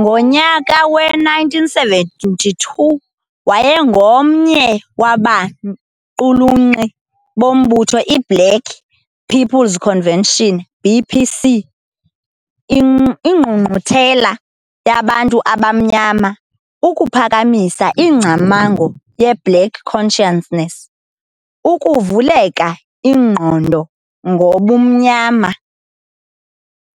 Ngonyaka we-1972, wayengomnye wabaqulunqi bombutho iBlack People's Convention, BPC, Ingqungquthela yaBantu Abamnyama ukuphakamisa ingcamango yeBlack Consciousness, Ukuvuleka Ingqondo ngoBumnyama,